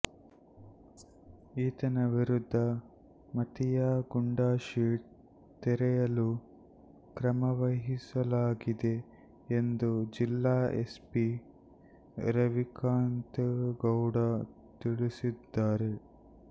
ಈತನ ವಿರುದ್ಧ ಮತೀಯ ಗೂಂಡಾಶೀಟ್ ತೆರೆಯಲು ಕ್ರಮವಹಿಸಲಾಗಿದೆ ಎಂದು ಜಿಲ್ಲಾ ಎಸ್ಪಿ ರವಿಕಾಂತೇಗೌಡ ತಿಳಿಸಿದ್ದಾರೆ